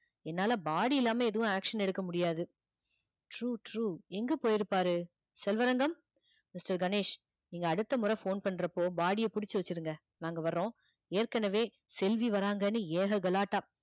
என்னால body இல்லாம எதுவும் action எடுக்க முடியாது true true எங்க போயிருப்பாரு செல்வரங்கம் mister கணேஷ் நீங்க அடுத்த முறை phone பண்றப்போ body ய புடிச்சு வச்சிடுங்க நாங்க வர்றோம் ஏற்கனவே செல்வி வராங்கன்னு ஏக கலாட்டா